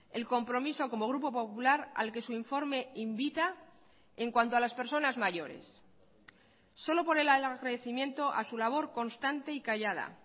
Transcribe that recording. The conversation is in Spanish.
el compromiso como grupo popular al que su informe invita en cuanto a las personas mayores solo por el agradecimiento a su labor constante y callada